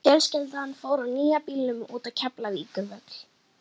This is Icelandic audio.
Fjölskyldan fór á nýja bílnum út á Keflavíkurvöll.